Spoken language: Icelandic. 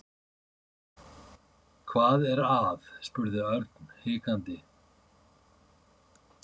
Hvað er að? spurði Örn hikandi.